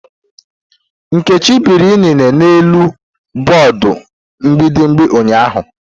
Nkechi biri inine n'elu bọọdụ mbíbì ụnyaahụ.